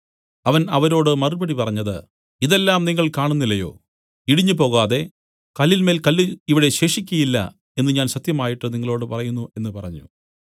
അവൻ അവരോട് മറുപടി പറഞ്ഞത് ഇതെല്ലാം നിങ്ങൾ കാണുന്നില്ലയോ ഇടിഞ്ഞുപോകാതെ കല്ലിന്മേൽ കല്ല് ഇവിടെ ശേഷിക്കയില്ല എന്നു ഞാൻ സത്യമായിട്ട് നിങ്ങളോടു പറയുന്നു എന്നു പറഞ്ഞു